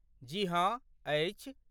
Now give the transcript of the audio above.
जी हँ, अछि।